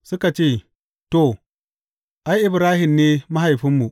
Suka ce, To, ai, Ibrahim ne mahaifinmu.